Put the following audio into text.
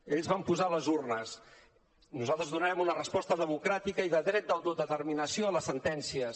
ells van posar les urnes nosaltres donem una resposta democràtica i de dret d’autodeterminació a les sentències